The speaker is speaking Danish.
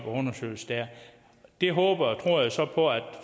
undersøges der det håber og tror jeg så på at